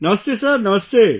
Namaste Sir Namaste